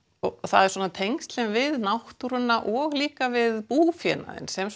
það eru svona tengslin við náttúruna og líka við búfénaðinn sem